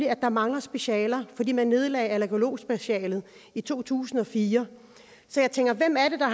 at der mangler specialer fordi man nedlagde allergologspecialet i to tusind og fire så jeg tænker hvem er det der